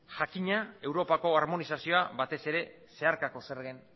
jakina europako armonizazioa batez ere zeharkako zergen